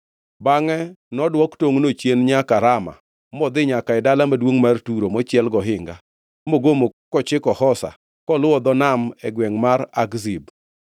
Bangʼe nodwok tongʼno chien nyaka Rama modhi nyaka e dala maduongʼ mar Turo mochiel gohinga, mogomo kochiko Hosa koluwo dho nam e gwengʼ mar Akzib,